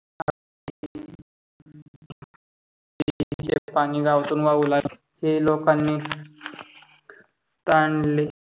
नदी चे पानी गावातून वाहू लागले. हे लोकानी तांडले